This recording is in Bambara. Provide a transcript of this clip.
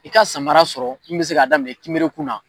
I ka samara sɔrɔ min bɛ se k'a daminɛ kimerekun na